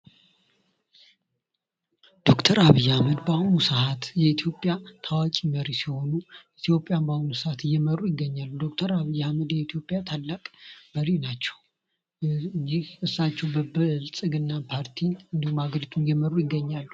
ዶክተር አብይ አህመድ በኢትዮጵያ ታዋቂ መሪ ሲሆኑ ኢትዮጵያን በአሁኑ ሰአት እየመሩ ይገኛሉ። ዶክተር አብይ አህመድ የኢትዮጵያ ታላቅ መሪ ናቸው። በብልጽግና ፓርቲ አገሪቱን እየመሩ ይገኛሉ።